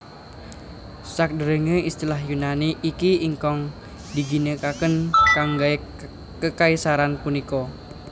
Sakdèrèngé istilah Yunani iki ingkang diginakaken kanggé kekaisaran punika